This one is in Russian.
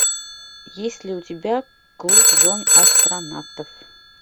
есть ли у тебя клуб жен астронавтов